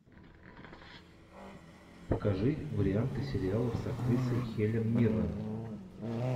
покажи варианты сериалов с актрисой хелен миррен